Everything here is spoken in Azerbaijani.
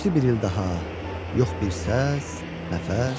Keçdi bir il daha, yox bir səs, nəfəs.